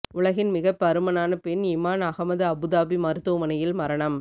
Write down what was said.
உலகின் மிகப் பருமனான பெண் இமான் அகமது அபுதாபி மருத்துவமனையில் மரணம்